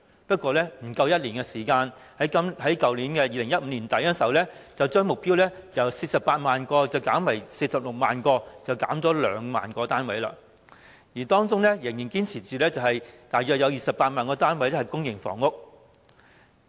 不過，不足1年時間，政府於去年年底便將目標由48萬個減為46萬個，少了兩萬個單位，雖然仍堅持大約有28萬個單位是公營房屋。